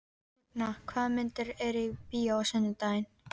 Högna, hvaða myndir eru í bíó á sunnudaginn?